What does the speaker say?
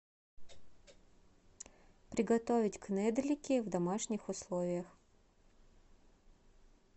приготовить кнедлики в домашних условиях